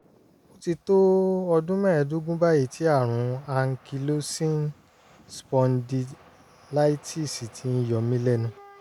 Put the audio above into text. ó ti tó ọdún mẹ́ẹ̀ẹ́dógún báyìí tí àrùn ankylosing spondylitis ti ń yọ mí mí lẹ́nu